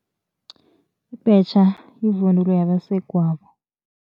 Ibhetjha yivunulo yabasegwabo.